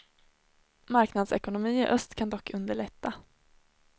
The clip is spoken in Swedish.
Marknadsekonomi i öst kan dock underlätta.